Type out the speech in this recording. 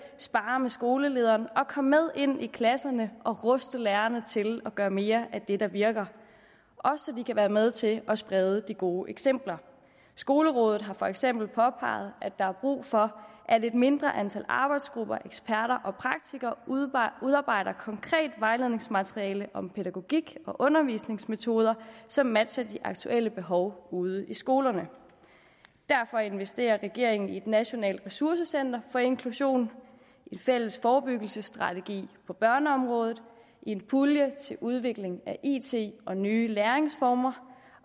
sparre med skolelederen og komme med ind i klasserne og ruste lærerne til at gøre mere af det der virker også så de kan være med til at sprede de gode eksempler skolerådet har for eksempel påpeget at der er brug for at et mindre antal arbejdsgrupper og eksperter og praktikere udarbejder konkret vejledningsmateriale om pædagogik og undervisningsmetoder som matcher de aktuelle behov ude i skolerne derfor investerer regeringen i et nationalt ressourcecenter for inklusion en fælles forebyggelsesstrategi på børneområdet en pulje til udvikling af it og nye læringsformer